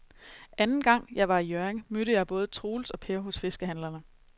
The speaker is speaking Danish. Anden gang jeg var i Hjørring, mødte jeg både Troels og Per hos fiskehandlerne.